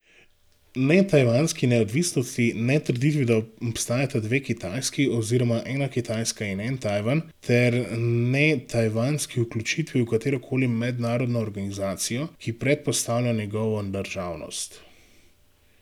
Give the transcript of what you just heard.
Ne tajvanski neodvisnosti, ne trditvi, da obstajata dve Kitajski oziroma ena Kitajska in en Tajvan, ter ne tajvanski vključitvi v katero koli mednarodno organizacijo, ki predpostavlja njegovo državnost.